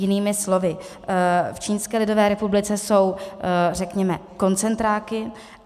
Jinými slovy, v Čínské lidové republice jsou, řekněme, koncentráky.